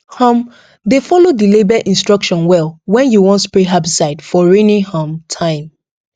um dey follow the label instruction well when you wan spray herbicide for rainy um time